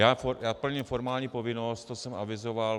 Já plním formální povinnost, co jsem avizoval.